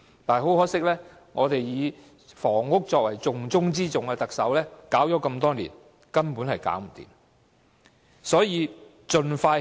不過，很可惜，以房屋作為"重中之重"的特首搞了這麼多年，始終無法解決問題。